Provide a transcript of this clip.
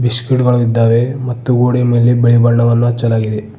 ಬಿಸ್ಕೆಟ್ಗಳು ಇದ್ದಾವೆ ಮತ್ತು ಗೋಡೆಯ ಮೇಲೆ ಬಿಳಿ ಬಣ್ಣವನ್ನು ಹಚ್ಚಲಾಗಿದೆ.